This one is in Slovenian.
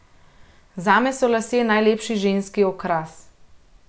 Zame so lasje najlepši ženski okras.